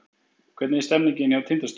Hvernig er stemningin hjá Tindastól?